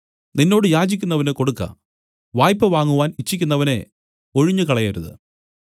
നിന്നോട് യാചിക്കുന്നവനു കൊടുക്ക വായ്പവാങ്ങുവാൻ ഇച്ഛിക്കുന്നവനെ ഒഴിഞ്ഞുകളയരുത്